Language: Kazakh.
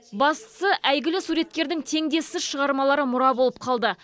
бастысы әйгілі суреткердің теңдессіз шығармалары мұра болып қалды